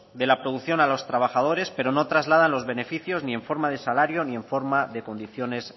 de la producción a los trabajadores pero no trasladan los beneficios ni en forma de salario ni en forma de condiciones